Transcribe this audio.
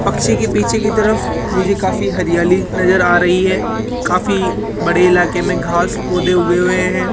पक्षी के पीछे की तरफ मुझे काफी हरियाली नजर आ रही है काफी बड़े इलाके में घास पौधे उगे हुए हैं।